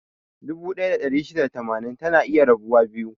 Dubu ɗaya da ɗari shida da tamanin, tana iya rabuwa biyu.